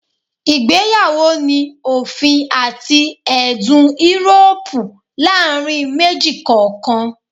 Igbeyawo ni a ofin ati ẹdun Euroopu laarin meji kọọkan